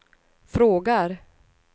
frågar